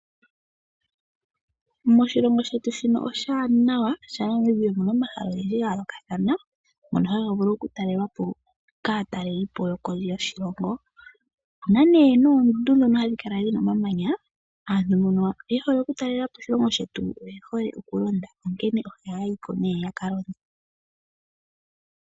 Moshilongo shetu shino oshiwanawa shaNamibia oshi na omahala ogendji ga yoolokathana ngono haga vulu okutalelwapo kaatalelipo yokondje yoshilongo opu na nee noondundu ndhono hadhi kala dhi na omamanya aantu mbono ye hole okutalelapo oshilongo shetu oye hole okulonda onkene ohaya yiko ne ya kalonde.